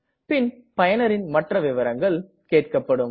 பின் பயனரின் மற்ற விவரங்களுக்கு கேட்கப்படும்